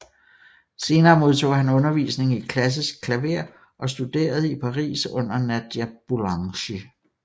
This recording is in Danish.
Senere modtog han undervisning i klassisk klaver og studerede i Paris under Nadia Boulanger